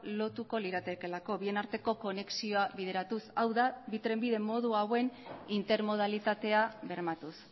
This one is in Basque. lotuko liratekeelako bien arteko konexioa bideratuz hau da bi trenbide modu hauen intermodalitatea bermatuz